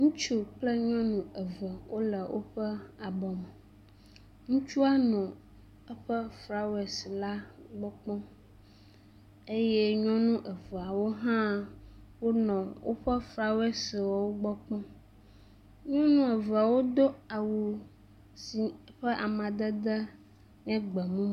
Ŋutsu kple nyɔnu eve wole woƒe abɔ me. Ŋutsua no eƒe flawesi la gbɔ kpɔm eye nyɔnu eveawo hã wonɔ woƒe flawesiwo gbɔ kpɔm. Nyɔnu eveawo do awu si ƒe amadede nye gbemumu.